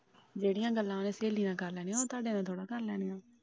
ਜਿਹੇੜੀਆ ਗੱਲਾਂ ਸਹੇਲੀ ਨਾਲ ਕਰ ਲੈਣੀਆਂ ਉਹ ਤੁਹਾਡੇ ਨਾਲ ਥੋੜਾ ਕਰ ਲੈਣੀਆਂ।